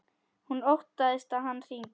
Hún óttast að hann hringi.